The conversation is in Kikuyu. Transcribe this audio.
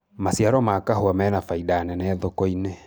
maciaro ma kahũa mena baida nene thoko-inĩ